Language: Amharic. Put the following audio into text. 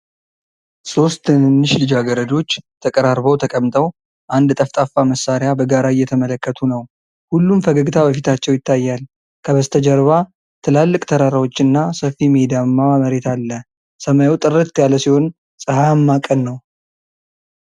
ሦስት ትንንሽ ልጃገረዶች ተቀራርበው ተቀምጠው አንድ ጠፍጣፋ መሳሪያ በጋራ እየተመለከቱ ነው። ሁሉም ፈገግታ በፊታቸው ላይ ይታያል። ከበስተጀርባ ትላልቅ ተራራዎች እና ሰፊ ሜዳማ መሬት አለ። ሰማዩ ጥርት ያለ ሲሆን ፀሐያማ ቀን ነው።